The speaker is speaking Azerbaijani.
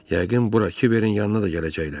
Yəqin bura Kiverin yanına da gələcəklər.